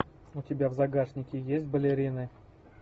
у тебя в загашнике есть балерины